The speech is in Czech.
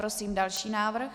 Prosím další návrh.